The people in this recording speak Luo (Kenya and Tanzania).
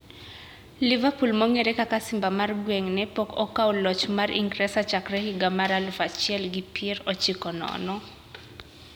Liverpool mong`ere kaka simba mar gweng`ne pok okawo loch mar Ingresa chakre higa mar aluf achiel gi pier ochiko nono.